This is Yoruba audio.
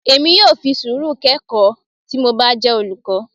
Èmi yóò fi sùúrù kọ ẹ̀kọ́ tí mo bá jẹ́ olùkọ́.